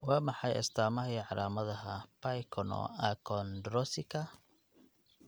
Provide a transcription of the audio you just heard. Waa maxay astaamaha iyo calaamadaha Pyknoachondrosika?